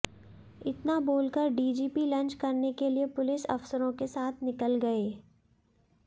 इतना बोल कर डीजीपी लंच करने के लिये पुलिस अफसरों के साथ निकल गये